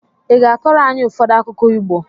ị ga-akọrọ anyị ụfọdụ akụkọ Igbo?